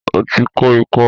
O ti kó ikọ́